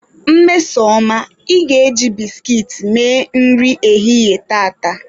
Mmesoma, ị ga-eji biskit mee nri ehihie tata!